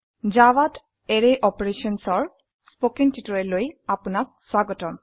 জাভাত এৰে অপাৰেশ্যনছ ৰ কথ্য টিউটোৰিয়ালে আপুনাক স্বাগতম